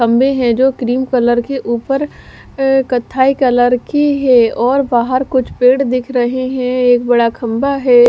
खम्भे है जो क्रीम कलर के उपर कथाई कलर की है और बहार कुछ पेड़ दिख रहे है और खम्बा है।